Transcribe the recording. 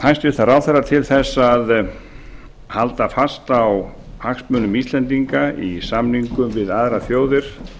hæstvirtan ráðherra til að halda fast á hagsmunum íslendinga í samningum við aðrar þjóðir